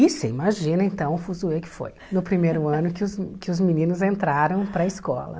Isso, imagina então o fuzuê que foi no primeiro ano que os que os meninos entraram para a escola.